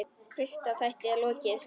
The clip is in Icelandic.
Fyrsta þætti er lokið.